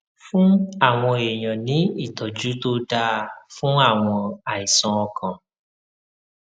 fún àwọn èèyàn ní ìtójú tó dáa fún àwọn àìsàn ọkàn